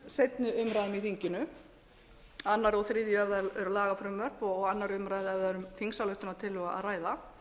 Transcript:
seinni umræðum í þinginu annað og þriðja ef það eru lagafrumvörp og annarrar umræðu ef það er um þingsályktunartillögu r að ræða